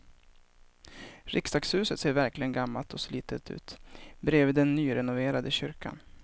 Riksdagshuset ser verkligen gammalt och slitet ut bredvid den nyrenoverade kyrkan.